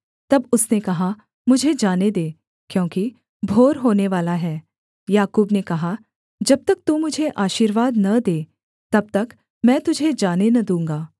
तब उसने कहा मुझे जाने दे क्योंकि भोर होनेवाला है याकूब ने कहा जब तक तू मुझे आशीर्वाद न दे तब तक मैं तुझे जाने न दूँगा